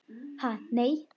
Ha, nei.